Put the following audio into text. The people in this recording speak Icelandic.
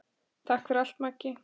Takk fyrir allt, Maggi.